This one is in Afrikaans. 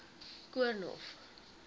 koornhof